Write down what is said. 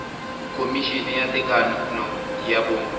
khomišene ya tekano ya bong